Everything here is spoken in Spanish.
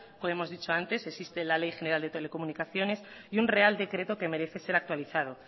como hemos dicho antes existe la ley general de telecomunicaciones y un real decreto que merece ser actualizado